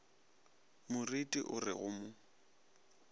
moreti o re go mo